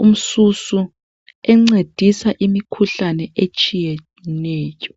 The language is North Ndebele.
lomangwe encedisa kumikhuhlane etshiyeneyo.